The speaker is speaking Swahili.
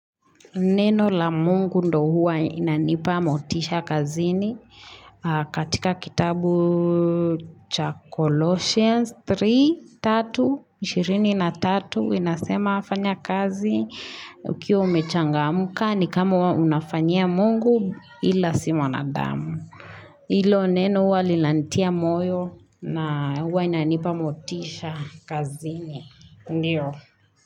Neno la mungu ndo huwa inanipa motisha kazini katika kitabu cha Colossians 3, 3, 23, inasema afanya kazi. Ukiwa umechangamuka ni kama unafanya mungu ila si mwanadamu. Ilo neno huwa lilantia moyo na huwa inanipa motisha kazini. Ndiyo.